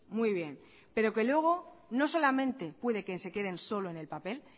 muy bien pero que luego no solamente puede que se queden solo en el papel